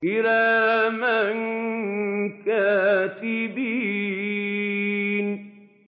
كِرَامًا كَاتِبِينَ